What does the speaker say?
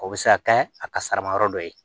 O bɛ se ka kɛ a kasara yɔrɔ dɔ ye